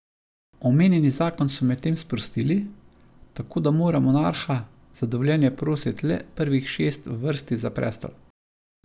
Omenjeni zakon so medtem sprostili, tako da mora monarha za dovoljenje prositi le prvih šest v vrsti za prestol.